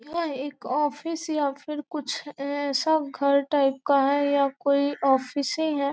यह एक ऑफिस या फिर कुछ ऐसा घर टाइप का है या कोई ऑफिस ही हैं।